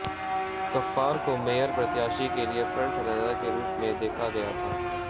गफ्फार को मेयर प्रत्याशी के लिए फ्रंट रनर के रूप में देखा गया था